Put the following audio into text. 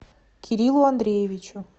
кириллу андреевичу